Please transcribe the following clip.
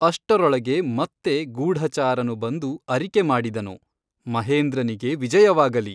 ಅಷ್ಟರೊಳಗೆ ಮತ್ತೆ ಗೂಢಚಾರನು ಬಂದು ಅರಿಕೆಮಾಡಿದನು ಮಹೇಂದ್ರನಿಗೆ ವಿಜಯವಾಗಲಿ.